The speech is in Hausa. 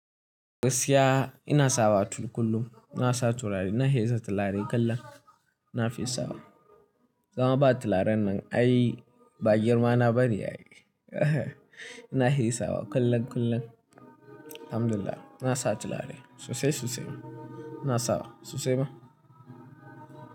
Gaskiya ina sawa tulu kullum. Ina saa turari, ina heza tilaari kullum. Ina fi sawa. Sama baa tilaaran nan. Ayii baa girmaanaa bane ayii. Ina heyi sawa kullum, kullum. Alhamdulillah, ina saa tilaari suusay, suusay maa. Ina sawa suusay maa.